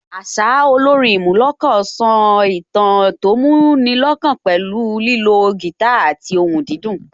Àṣá, olórin ìmúnilọ́kàn so ìtàn tó mú ni lọ́kàn pẹ̀lú ìlò guitar àti ohùn dídùn